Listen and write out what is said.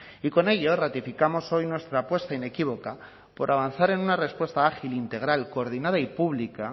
y con ello ratificamos hoy nuestra apuesta inequívoca por avanzar en una respuesta ágil integral coordinada y pública